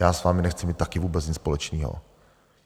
Já s vámi nechci mít taky vůbec nic společného.